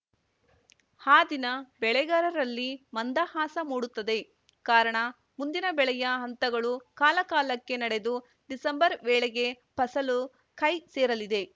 ಆ ದಿನ ಬೆಳೆಗಾರರಲ್ಲಿ ಮಂದಹಾಸ ಮೂಡುತ್ತದೆ ಕಾರಣ ಮುಂದಿನ ಬೆಳೆಯ ಹಂತಗಳು ಕಾಲ ಕಾಲಕ್ಕೆ ನಡೆದು ಡಿಸೆಂಬರ್‌ ವೇಳೆಗೆ ಫಸಲು ಕೈ ಸೇರಲಿದೆ